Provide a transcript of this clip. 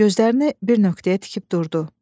Gözlərini bir nöqtəyə tikib durdu.